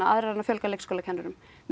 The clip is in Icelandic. fjölga leikskólakennurum við